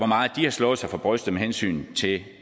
meget de har slået sig for brystet med hensyn til